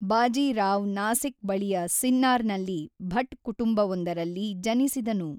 ಬಾಜಿ ರಾವ್ ನಾಸಿಕ್ ಬಳಿಯ ಸಿನ್ನಾರ್ ನಲ್ಲಿ ಭಟ್ ಕುಟುಂಬವೊಂದರಲ್ಲಿ ಜನಿಸಿದನು.